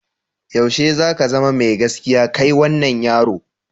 Yaushe za ka zama mai gaskiya kai wannan yaro?